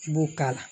I b'o k'a la